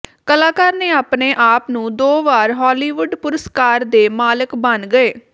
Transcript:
ਕਲਾਕਾਰ ਨੇ ਆਪਣੇ ਆਪ ਨੂੰ ਦੋ ਵਾਰ ਹਾਲੀਵੁੱਡ ਪੁਰਸਕਾਰ ਦੇ ਮਾਲਕ ਬਣ ਗਏ